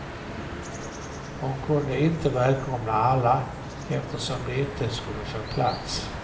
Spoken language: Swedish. Hon kunde inte välkomna alla, eftersom de inte skulle få plats.